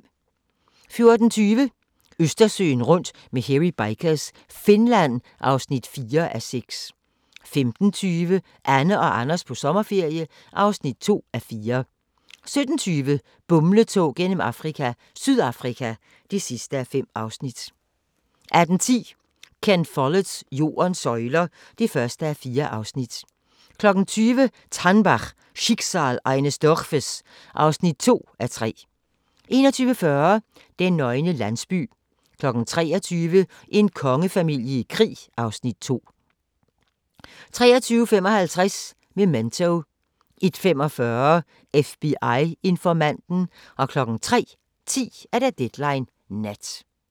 14:20: Østersøen rundt med Hairy Bikers – Finland (4:6) 15:20: Anne og Anders på sommerferie (2:4) 17:20: Bumletog gennem Afrika – Sydafrika (5:5) 18:10: Ken Folletts Jordens søjler (1:4) 20:00: TANNBACH - Schicksal eines Dorfes (2:3) 21:40: Den nøgne landsby 23:00: En kongefamilie i krig (Afs. 3) 23:55: Memento 01:45: FBI-informanten 03:10: Deadline Nat